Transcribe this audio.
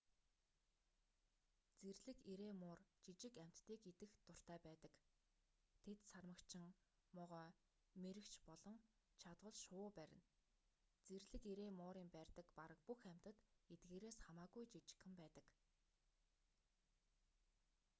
зэрлэг эрээн муур жижиг амьтдыг идэх дуртай байдаг тэд сармагчин могой мэрэгч болон чадвал шувуу барина зэрлэг эрээн муурын барьдаг бараг бүх амьтад эдгээрээс хамаагүй жижигхэн байдаг